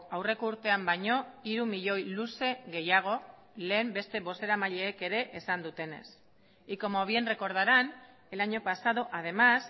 aurreko urtean baino hiru milioi luze gehiago lehen beste bozeramaileek ere esan dutenez y como bien recordarán el año pasado además